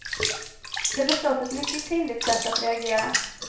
Det är förstås ett mycket kvinnligt sätt att reagera.